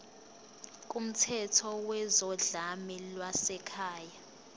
kumthetho wezodlame lwasekhaya